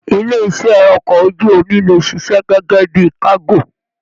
Ilé iṣẹ okọ̀ ojú omi lè ṣiṣẹ́ gẹgẹ bíi kago.